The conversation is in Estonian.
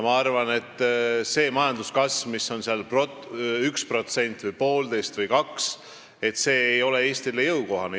Ma arvan, et majanduskasv, mis on seal 1% või 1,5% või 2%, see ei ole Eestile jõukohane.